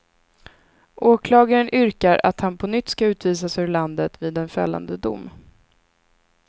Åklagaren yrkar att han på nytt ska utvisas ur landet vid en fällande dom.